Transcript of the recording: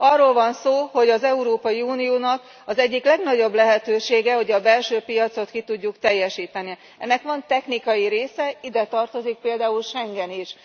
Arról van szó, hogy az Európai Uniónak az egyik legnagyobb lehetősége, hogy a belső piacot ki tudjuk teljesíteni. Ennek van technikai része, ide tartozik például Schengen is.